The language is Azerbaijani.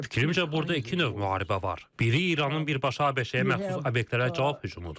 Fikrimcə burada iki növ müharibə var, biri İranın birbaşa ABŞ-yə məxsus obyektlərə cavab hücumudur.